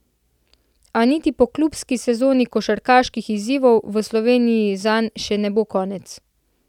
A niti po klubski sezoni košarkarskih izzivov v Sloveniji zanj še ne bo konec.